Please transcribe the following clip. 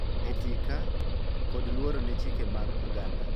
Etika, kod luor ne chike mag oganda.